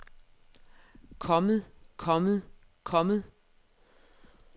kommet kommet kommet